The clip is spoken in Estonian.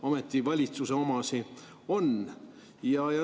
Ometi valitsuse omad.